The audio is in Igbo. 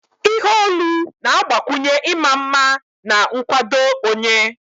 Ihe olu na-agbakwunye ịma mma na nkwado onye